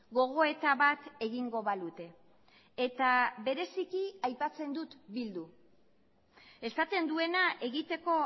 gogoeta bat egingo balute eta bereziki aipatzen dut bildu esaten duena egiteko